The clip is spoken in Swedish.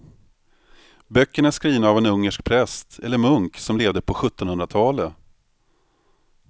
Böckerna är skrivna av en ungersk präst eller munk som levde på sjuttonhundratalet.